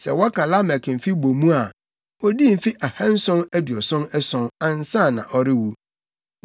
Sɛ wɔka Lamek mfe dodow bɔ mu a, odii mfe ahanson aduɔson ason, ansa na ɔrewu.